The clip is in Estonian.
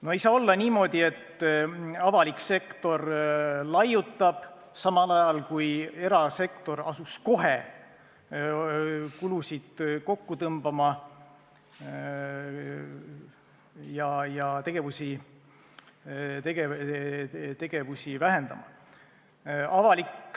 No ei saa olla niimoodi, et avalik sektor laiutab, samal ajal kui erasektor asus kohe kulusid kokku tõmbama ja tegevusi vähendama.